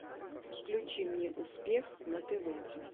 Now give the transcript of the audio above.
включи мне успех на тв